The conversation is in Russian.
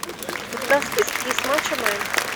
у тебя в списке есть мачо мен